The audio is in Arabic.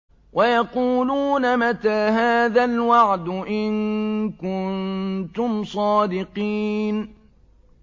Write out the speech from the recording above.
وَيَقُولُونَ مَتَىٰ هَٰذَا الْوَعْدُ إِن كُنتُمْ صَادِقِينَ